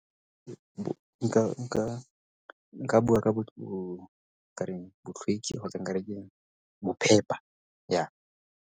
nka bua ka ka reng kgotsa nka re ke bophepa ya.